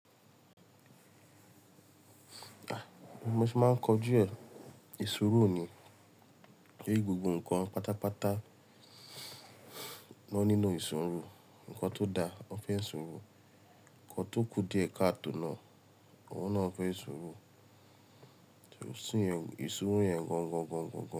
Bimo se máa ń kọ ju ẹ́, ṣuuru ni. Pé gbogbo ǹkan pátápátá won nílo ṣuuru. Ǹkan tó da, wọ́n fẹ́ ṣuuru. Ǹkan tó kú díẹ̀ káàtò náà, òhun náà fẹ́ ṣuuru. Tí o sí ṣuuru yẹn gan gan gan gan.